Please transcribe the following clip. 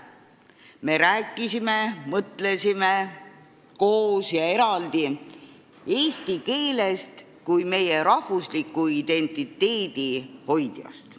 Me rääkisime-mõtlesime koos ja eraldi eesti keelest kui meie rahvusliku identiteedi hoidjast.